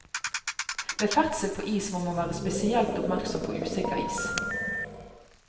Ved ferdsel på is må man være spesielt oppmerksom på usikker is.